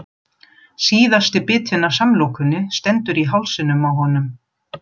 Síðasti bitinn af samlokunni stendur í hálsinum á honum.